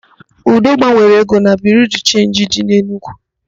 Udo gbanwere ego na Biriu de Chenji dị n'Enugu.